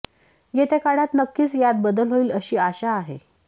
येत्या काळात नक्कीच यात बदल होईल अशी आशा आहे